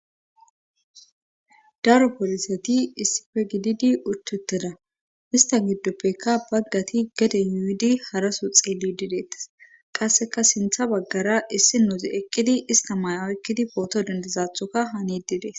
Daro pooliseti issife gididi uchtetteda ista giddoppekka baggati geden yuidi haraso xeelli dideetes qasseka sintha baggara issi nozi eqqidi ista maaya oykkidi pooto dendezathoka hanididees